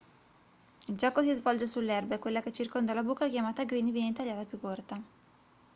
il gioco si svolge sull'erba e quella che circonda la buca chiamata green viene tagliata più corta